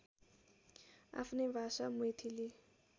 आफ्नै भाषा मैथिली